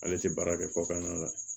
Ale tɛ baara kɛ kɔkan na